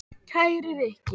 Kæri Rikki.